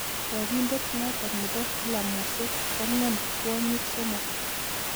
Chobindet notok bo filamusiek kong'em kwonyik somok.